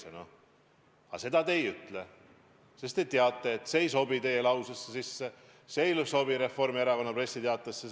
Aga seda te ei ütle, sest te teate, et see ei sobi teie lausesse, see ei sobi Reformierakonna pressiteatesse.